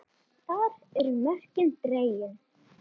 Þar eru mörkin dregin.